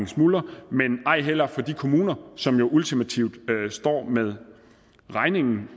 smuldrer men ej heller kan de kommuner som jo ultimativt står med regningen